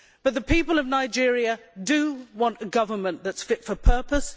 The people of Nigeria want a government that is fit for purpose.